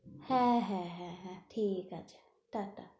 হ্যাঁ হ্যাঁ হ্যাঁ ঠিক আছে টাটা।